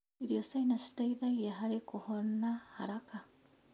Irio cina citeithagia harĩ kũhona haraka.